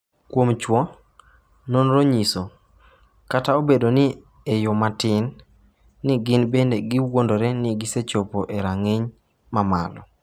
Kuom chwo, nonro nyiso, kata obedo ni e yo matin, ni gin bende giwuondore ni gisechopo e rang’iny ma malo.